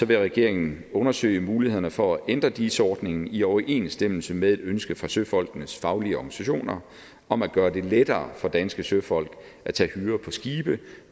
vil regeringen undersøge mulighederne for at ændre dis ordningen i overensstemmelse med et ønske fra søfolkenes faglige organisationer om at gøre det lettere for danske søfolk at tage hyre på skibe